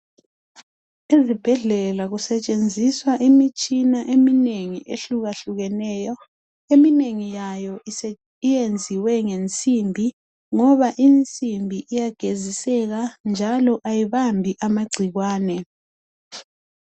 Ezibhedlela kusetshenziswa imitshina eminengi ehlukakahlukeneyo. Eminengi yayo yenziwe ngensimbi ngoba insimbi iyageziseka njalo ayibambi amagcikwane.